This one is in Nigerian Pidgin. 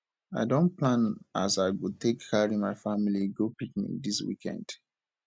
i don plan as i go take carry my family go picnic dis weekend